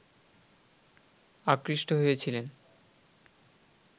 আকৃষ্ট হয়েছিলেন